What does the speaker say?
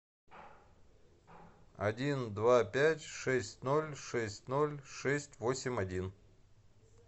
один два пять шесть ноль шесть ноль шесть восемь один